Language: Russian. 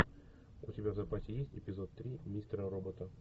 у тебя в запасе есть эпизод три мистера робота